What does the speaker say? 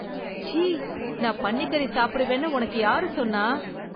ச்சீ, நான் பன்னிக்கறி சாப்பிடுவேன்னு உனக்கு யாரு சொன்னா?